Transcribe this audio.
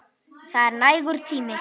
Það er nægur tími.